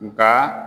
Nka